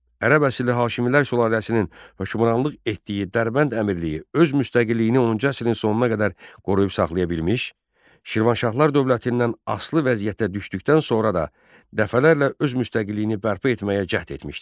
Ərəb əsilli hakimlər sülaləsinin hökmranlıq etdiyi Dərbənd Əmirliyi öz müstəqilliyini 10-cu əsrin sonuna qədər qoruyub saxlaya bilmiş, Şirvanşahlar dövlətindən asılı vəziyyətə düşdükdən sonra da dəfələrlə öz müstəqilliyini bərpa etməyə cəhd etmişdir.